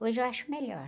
Hoje eu acho melhor.